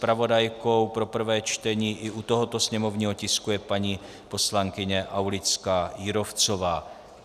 Zpravodajkou pro prvé čtení i u tohoto sněmovního tisku je paní poslankyně Aulická Jírovcová.